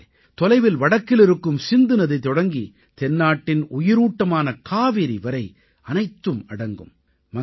இதிலே தொலைவில் வடக்கில் இருக்கும் சிந்து நதி தொடங்கி தென்னாட்டின் உயிரூட்டமான காவிரி வரை அனைத்தும் அடங்கும்